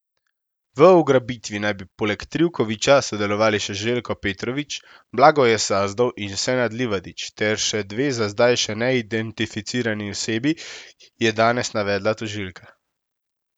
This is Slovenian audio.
V ugrabitvi naj bi poleg Trivkovića sodelovali še Željko Petrović, Blagoje Sazdov in Senad Livadić ter še dve za zdaj še neidentificirani osebi, je danes navedla tožilka.